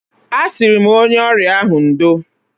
Asi m onye ọrịa ahụ, "Ndo!"